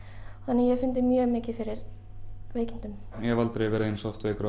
ég hef fundið mjög mikið fyrir veikindum ég hef aldrei verið eins oft veikur á